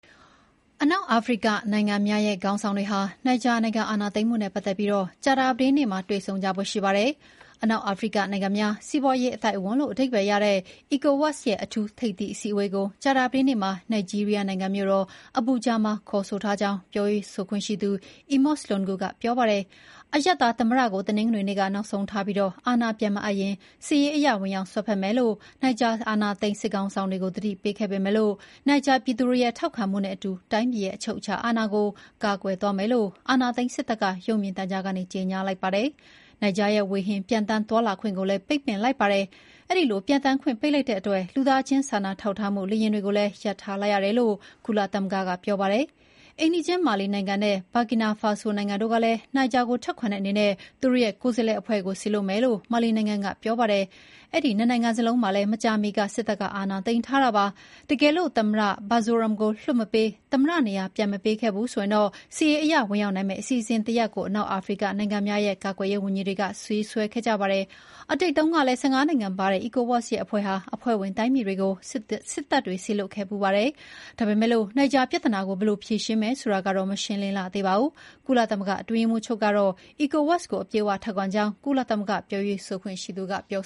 အနောက်အာဖရိကနိုင်ငံများ ရဲ့ ခေါင်းဆောင်တွေဟာ နိုင်ဂျာနိုင်ငံ အာဏာသိမ်းမှု နဲ့ပတ်သက်ပြီး ကြာသပတေးနေ့မှာ တွေ့ဆုံကြဖို့ ရှိပါတယ်။ အနောက်အာဖရိက နိုင်ငံများ စီးပွါးရေးအသိုက်အဝန်းလို့ အဓိပ္ပါယ်ရတဲ့ ECOWAS ရဲ့ အထူးထိပ်သီး အစည်းအဝေးကို ကြာသပတေးနေ့မှာ နိုင်ဂျီးရီးယားနိုင်ငံ မြို့တော်အဘူဂျာ (Abuja) မှာ ခေါ်ဆိုထားကြောင်း ပြောရေးဆိုခွင့်ရှိသူ အီမော့စ် လွန်ဂု (Emos Lungu) က ပြောပါတယ်။ အရပ်သားသမ္မတကို တနင်္ဂနွေနေ့ နောက်ဆုံးထားပြီး အာဏာပြန်မအပ်ရင် စစ်ရေးအရ ဝင်ရောက်စွက်ဖက်မယ်လို့ နိုင်ဂျာ အာဏာသိမ်းစစ်ခေါင်းဆောင်တွေ ကို သတိပေးထားခဲ့ပေမဲ့ နိုင်ဂျာပြည်သူတွေရဲ့ ထောက်ခံမှုနဲ့အတူ တိုင်းပြည်ရဲ့ အချုပ်အခြာအာဏာကို ကာကွယ်သွားမယ်လို့ အာဏာသိမ်းစစ်တပ်က ရုပ်မြင်သံကြားကနေ ကြေညာလိုက်ပါတယ်။ နိုင်ဂျာရဲ့ဝေဟင်မှာ ပျံသန်းသွားလာခွင့်ကိုလည်း ပိတ်လိုက်ပါတယ်။ အဲဒီလို ပျံသန်းခွင့် ပိတ်လိုက်တဲ့အတွက် လူသားချင်းစာနာထောက်ထားရေး လေယာဥ်တွေကိုလည်း ရပ်ထားလိုက်ရတယ်လို့ ကုလသမဂ္ဂက ပြောပါတယ်။ အိမ်နီးချင်း မာလီနိုင်ငံနဲ့ ဘာကီနာ ဖာဆို Burkina Faso နိုင်ငံတို့ကလည်း နိုင်ဂျာကို ထောက်ခံတဲ့အနေနဲ့ သူတို့ ရဲ့ကိုယ်စားလှယ်အဖွဲ့ကို စေလွှတ်မယ်လို့ မာလီနိုင်ငံ က ပြောပါတယ်။ အဲဒီ ၂ နိုင်ငံလုံးမှာလည်း မကြာမီက စစ်တပ်က အာဏာသိမ်းထားတာပါ။ တကယ်လို့ သမ္မတ Bazoum ကို လွှတ်မပေး၊ သမ္မတနေရာ ပြန်မပေးခဲ့ဘူးဆိုရင် စစ်ရေးအရ ဝင်ရောက်နိုင်မယ့် အစီအစဥ်တရပ်ကို အနောက်အာဖရိက နိုင်ငံများ ရဲ့ ကာကွယ်ရေးဝန်ကြီးတွေက ရေးဆွဲခဲ့ကြပါတယ်။ အတိတ်တုန်းကလည်း ၁၅ နိုင်ငံပါတဲ့ ECOWAS အဖွဲ့ဟာ အဖွဲ့ဝင် တိုင်းပြည်တွေကို စစ်တပ်တွေ စေလွှတ်ခဲ့ဖူးပါတယ်။ ဒါပေမဲ့ နိုင်ဂျာပြဿနာကို ဘယ်လို ဖြေရှင်းမယ်ဆိုတာကတော့ မရှင်းလင်းလှသေးပါဘူး။ ကုလသမဂ္ဂအတွင်းရေးမှူးချုပ်ကတော့ ECOWAS ကို အပြည့်အဝ ထောက်ခံကြောင်း ကုလသမဂ္ဂ ပြောရေးဆိုခွင့်ရှိသူက ပြော